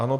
Ano.